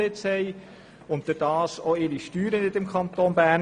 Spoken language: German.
Dadurch bezahlen sie auch ihre Steuern nicht im Kanton Bern.